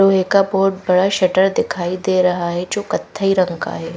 लोहे का बोत बड़ा शटर दिखाई दे रहा है जो कत्थई रंग का है।